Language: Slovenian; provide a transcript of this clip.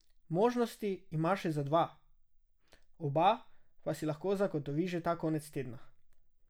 Možnosti ima še za dva, oba pa si lahko zagotovi že ta konec tedna.